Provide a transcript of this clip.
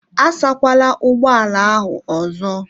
Asa kwala ụgbọ ala ahụ ọzọ!